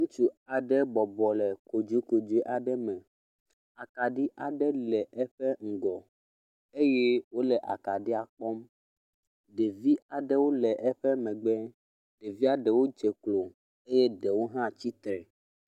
Ŋutsu aɖe bɔbɔ le kodzokodzoe aɖe me. Akaɖi aɖe le eƒe ŋgɔ eye wo le akaɖia kpɔm. Ɖevi aɖewo le eƒe megbe. Ɖevia ɖewo dze klo eye ɖewo hã le tsitre.